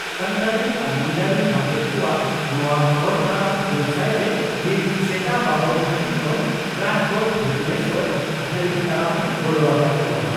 ᱾ᱥᱟᱱᱛᱟᱲᱤ ᱟᱨ ᱢᱩᱱᱰᱟᱹᱨᱤ ᱢᱟᱪᱮᱛ ᱠᱚᱣᱟᱜ ᱱᱚᱣᱟ ᱦᱚᱨ ᱛᱟᱲᱟᱢ ᱦᱩᱞᱥᱟᱹᱭᱨᱮ ᱢᱤᱫ ᱥᱮᱛᱟ ᱵᱟᱵᱚᱱ ᱜᱷᱟᱹᱴᱤ ᱠᱷᱚᱱ ᱨᱟᱡᱽᱜᱟᱲ ᱵᱷᱩᱵᱚᱱᱮᱥᱚᱨ ᱫᱷᱟᱹᱨᱤᱡ ᱛᱟᱲᱟᱢ ᱮ ᱜᱚᱲᱚ ᱟᱠᱟᱫ ᱠᱚᱜᱼᱟ ᱾